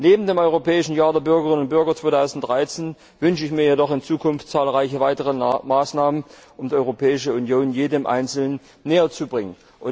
Neben dem Europäischen Jahr der Bürgerinnen und Bürger 2013 wünsche ich mir jedoch in Zukunft zahlreiche weitere Maßnahmen, um die Europäische Union jedem Einzelnen näherzubringen.